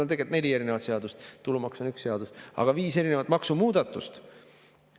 No tegelikult neli erinevat seadust, tulumaks on üks seadus, aga viis erinevat maksumuudatust.